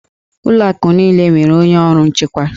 Ụlọ akụ niile nwere onye ọrụ nchekwa